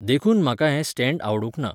देखून म्हाका हें स्टॅण्डआवडूंक ना.